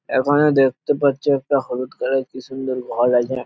এখানে দেখতে পারছো একটা হলুদ কালার কি সুন্দর ঘর আছে--